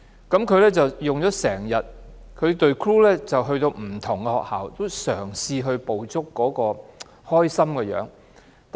他拍了一整天，而他的團隊亦前往不同學校拍攝，嘗試捕捉學生開心的樣子。